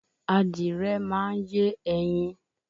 Adìrẹ máa ń yé ẹyin